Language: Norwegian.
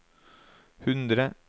hundre